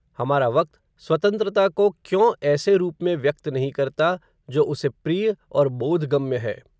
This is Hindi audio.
हमारा वक्त, स्वतंत्रता को क्यों, ऐसे रूप में व्यक्त नहीं करता, जो उसे प्रिय, और बोधगम्य है